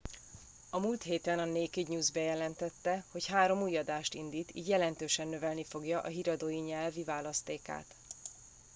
a múlt héten a naked news bejelentette hogy három új adást indít így jelentősen növelni fogja a híradói nyelvi választékát